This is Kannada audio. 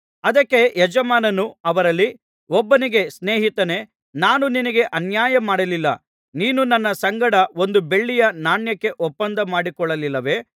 ಅದಕ್ಕೆ ಯಜಮಾನನು ಅವರಲ್ಲಿ ಒಬ್ಬನಿಗೆ ಸ್ನೇಹಿತನೇ ನಾನು ನಿನಗೆ ಅನ್ಯಾಯ ಮಾಡಲಿಲ್ಲ ನೀನು ನನ್ನ ಸಂಗಡ ಒಂದು ಬೆಳ್ಳಿಯ ನಾಣ್ಯಕ್ಕೆ ಒಪ್ಪಂದ ಮಾಡಿಕೊಳ್ಳಲಿಲ್ಲವೆ